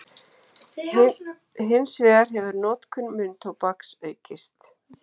Hins vegar hefur notkun munntóbaks aukist.